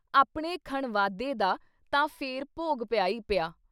ਆਪਣੇ ਖਣਵਾਦੇ ਦਾ ਤਾਂ ਫੇਰ ਭੋਗ ਪਿਆ ਈ ਪਿਆ।